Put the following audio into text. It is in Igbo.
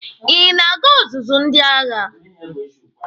Ị na-aga ọzụzụ ndị agha?